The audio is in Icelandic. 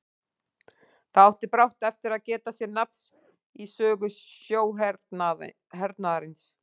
Það átti brátt eftir að geta sér nafn í sögu sjóhernaðarins.